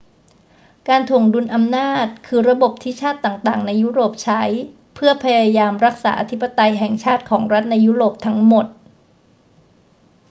การถ่วงดุลอำนาจคือระบบที่ชาติต่าง ๆ ในยุโรปใช้เพื่อพยายามรักษาอธิปไตยแห่งชาติของรัฐในยุโรปทั้งหมด